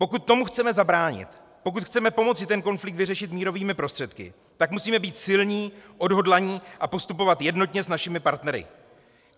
Pokud tomu chceme zabránit, pokud chceme pomoci ten konflikt vyřešit mírovými prostředky, tak musíme být silní, odhodlaní a postupovat jednotně s našimi partnery.